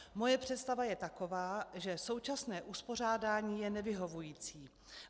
Moje představa je taková, že současné uspořádání je nevyhovující.